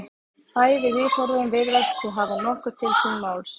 Bæði viðhorfin virðast því hafa nokkuð til síns máls.